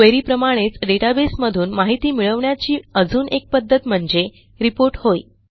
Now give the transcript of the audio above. query प्रमाणेचdatabase मधून माहिती मिळवण्याची अजून एक पध्दत म्हणजे रिपोर्ट होय